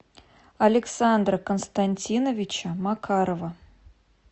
александра константиновича макарова